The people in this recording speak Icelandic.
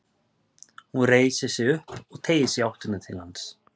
Hún reisir sig upp og teygir sig í áttina til hans.